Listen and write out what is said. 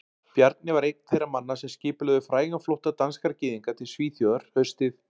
Bjarni var einn þeirra manna sem skipulögðu frægan flótta danskra gyðinga til Svíþjóðar haustið